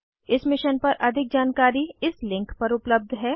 इस मिशन पर अधिक जानकारी इस लिंक पर उपलब्ध है